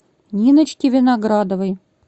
ниночке виноградовой